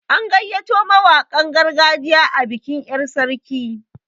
An gayyato mawaƙan gargajiya a bikin yar' sarki.